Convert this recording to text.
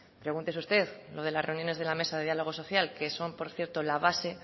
pregúntese usted lo de las reuniones de la mesa de diálogo social que son por cierto la base